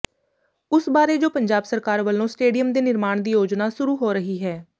ਉਸ ਬਾਰੇ ਜੋ ਪੰਜਾਬ ਸਰਕਾਰ ਵਲੋਂ ਸਟੇਡੀਅਮ ਦੇ ਨਿਰਮਾਣ ਦੀ ਯੋਜਨਾ ਸੁਰੂ ਹੋ ਰਹੀ ਹੈ